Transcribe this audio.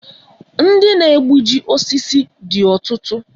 Ndị na egbuji osisi dị ọtụtụ